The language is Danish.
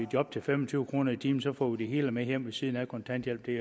job til fem og tyve kroner i timen og så får de det hele med hjem ved siden af kontanthjælpen